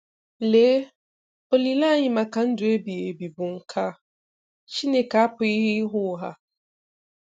Lee, olileanya anyị maka ndụ ebighị ebi bụ nke a. Chineke apụghị ịgha ụgha.